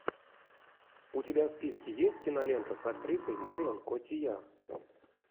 у тебя в списке есть кинолента с актрисой марион котийяр